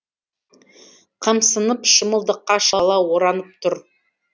қымсынып шымылдыққа шала оранып тұр